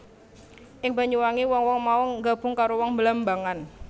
Ing Banyuwangi wong wong mau nggabung karo wong Blambangan